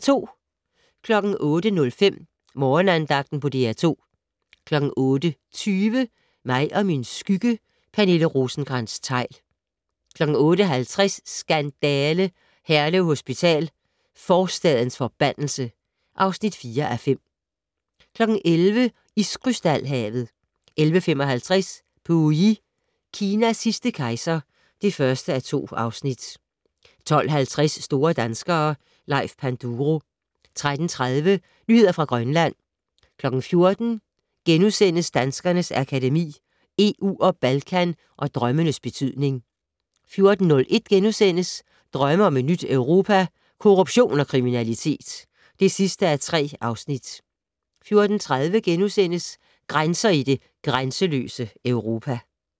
08:05: Morgenandagten på DR2 08:20: Mig og min skygge: Pernille Rosenkrantz-Theil 08:50: Skandale! - Herlev Hospital: forstadens forbandelse (4:5) 11:00: Iskrystal-havet 11:55: Pu Yi - Kinas sidste kejser (1:2) 12:50: Store danskere - Leif Panduro 13:30: Nyheder fra Grønland 14:00: Danskernes Akademi: EU og Balkan & Drømmenes betydning * 14:01: Drømme om et nyt Europa - Korruption og kriminalitet (3:3)* 14:30: Grænser i det grænseløse Europa *